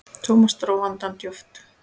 Thomas dró andann djúpt.